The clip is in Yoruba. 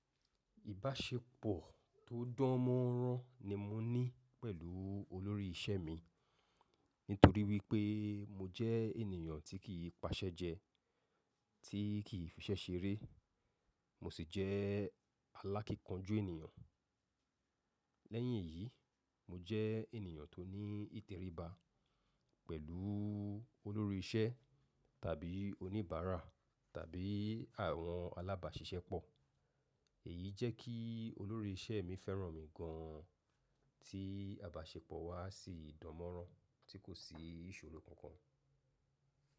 Ìbáṣepọ̀ tó dánmọ́nrán ni mo ní pẹ̀lú olórí isẹ́ mi nítorí wípé mo jẹ́ ènìyàn tí kì í paṣẹ́ jẹ, tí kì í fiṣẹ́ ṣeré, mo sì jẹ́ alákíkanjú ènìyàn. Lẹ́yìn èyí, mo jẹ́ ènìyàn tó ní ìtẹríba pẹ̀lú olórí isẹ́ tàbí oníbàárà tàbí àwọn alábáṣiṣẹ́pọ̀. Èyí jẹ́ kí olórí isẹ́ mi fẹ́ràn mi gan ti abáṣepọ̀ wa sì dánmọ́nrán tí kò sí ìṣòro kankan.